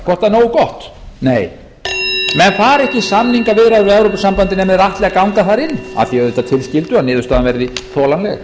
er nógu gott nei menn fara ekki í samningaviðræður við evrópusambandið nema þeir ætli að ganga þar inn að því auðvitað tilskildu að niðurstaðan verði þolanleg